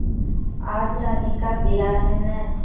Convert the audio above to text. आज रानी का ब्याह है न